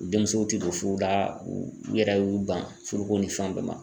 Denmusow tɛ don furu la, u yɛrɛ y'u ban furuko ni fɛn bɛɛ ma .